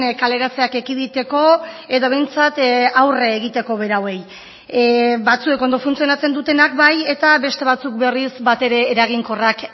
kaleratzeak ekiditeko edo behintzat aurre egiteko berauei batzuek ondo funtzionatzen dutenak bai eta beste batzuk berriz batere eraginkorrak